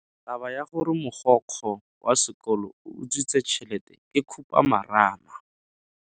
Taba ya gore mogokgo wa sekolo o utswitse tšhelete ke khupamarama.